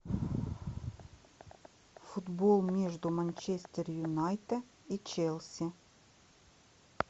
футбол между манчестер юнайтед и челси